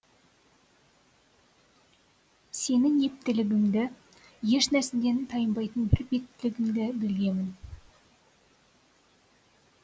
сенің ептілігіңді еш нәрседен тайынбайтын бір беттілігіңді білгемін